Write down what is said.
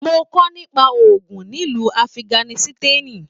Mo kọ nípa ogún nílu Afiganisitani.